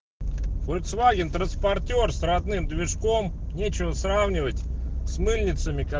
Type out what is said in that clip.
фольксваген транспортёр странным мешком нечего сравнивать с мыльницами